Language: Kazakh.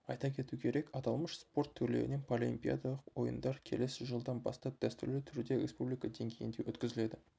айта кету керек аталмыш спорт түрлерінен паралимпиадалық ойындар келесі жылдан бастап дәстүрлі түрде республика деңгейінде өткізіледі